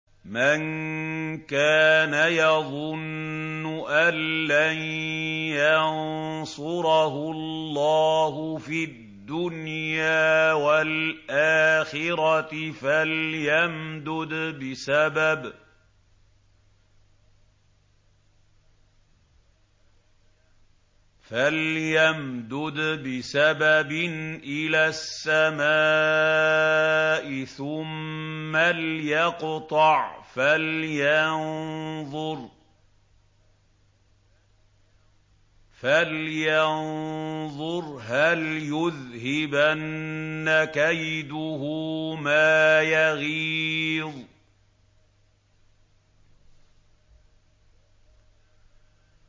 مَن كَانَ يَظُنُّ أَن لَّن يَنصُرَهُ اللَّهُ فِي الدُّنْيَا وَالْآخِرَةِ فَلْيَمْدُدْ بِسَبَبٍ إِلَى السَّمَاءِ ثُمَّ لْيَقْطَعْ فَلْيَنظُرْ هَلْ يُذْهِبَنَّ كَيْدُهُ مَا يَغِيظُ